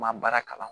N ma baara kalan